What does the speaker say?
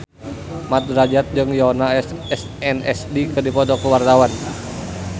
Mat Drajat jeung Yoona SNSD keur dipoto ku wartawan